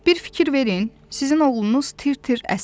Bir fikir verin, sizin oğlunuz tir-tir əsir.